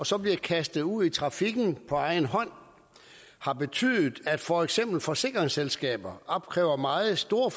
så bliver kastet ud i trafikken på egen hånd har betydet at for eksempel forsikringsselskaber opkræver meget store